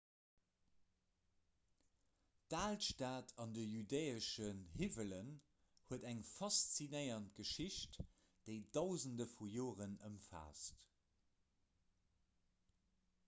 d'alstad an de judäeschen hiwwelen huet eng faszinéierend geschicht déi dausende vu joeren ëmfaasst